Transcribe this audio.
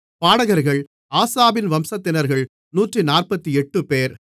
பாடகர்கள் ஆசாபின் வம்சத்தினர்கள் 148 பேர்